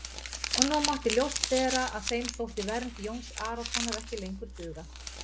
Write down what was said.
Og nú mátti ljóst vera að þeim þótti vernd Jóns Arasonar ekki lengur duga.